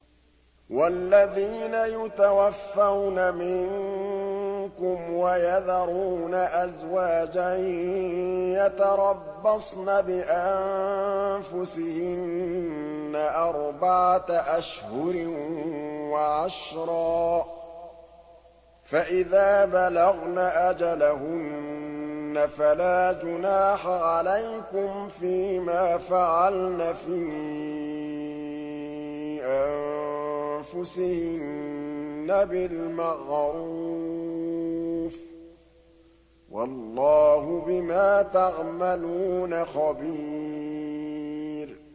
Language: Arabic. وَالَّذِينَ يُتَوَفَّوْنَ مِنكُمْ وَيَذَرُونَ أَزْوَاجًا يَتَرَبَّصْنَ بِأَنفُسِهِنَّ أَرْبَعَةَ أَشْهُرٍ وَعَشْرًا ۖ فَإِذَا بَلَغْنَ أَجَلَهُنَّ فَلَا جُنَاحَ عَلَيْكُمْ فِيمَا فَعَلْنَ فِي أَنفُسِهِنَّ بِالْمَعْرُوفِ ۗ وَاللَّهُ بِمَا تَعْمَلُونَ خَبِيرٌ